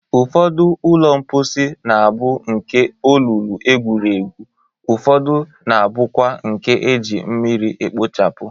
Ụfọdụ ụlọ mkposi na-abụ nke olulu egwuru egwu, ufọdụ na-abụkwa nke e ji mmiri ekpochapụ.